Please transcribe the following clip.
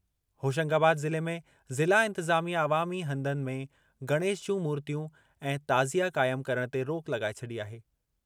होशंगाबाद ज़िले में ज़िला इंतिज़ामिया अवामी हंधनि में गणेश जूं मूर्तियूं ऐं ताज़िया क़ाइम करणु ते रोक लॻाए छॾी आहे।